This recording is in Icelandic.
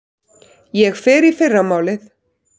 Ég fer í fyrramálið.